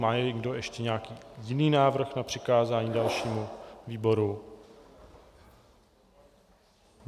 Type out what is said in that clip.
Má někdo ještě nějaký jiný návrh na přikázání dalšímu výboru?